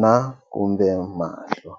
na kumbe mahlo.